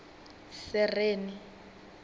sereni